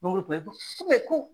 Mangoro tun bɛ ko ko